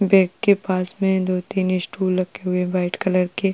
Bag के पास में दो तीन स्टूल रखे हुए है वाइट कलर के।